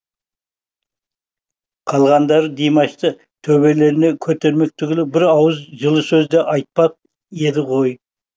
қалғандары димашты төбелеріне көтермек түгілі бір ауыз жылы сөз де айтпап еді ғой